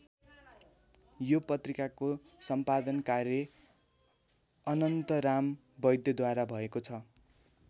यो पत्रिकाको सम्पादन कार्य अनन्तराम वैद्यद्वारा भएको छ।